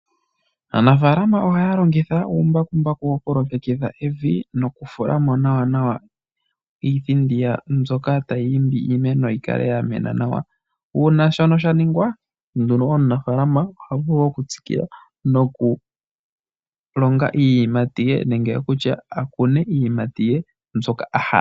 Aanafalama ohaalongitha uumbakumbaku wokulongekidha evi nokufulamo nawa nawa iithindi mbyoka tayiimbi iimeno yikale yamena nawa. Uuna shono shaningwa nduno, omunafalama ohavulu okutsikila noku longa iiyimati ye nenge okutsha akune iiyimati ye mbyoka ahala.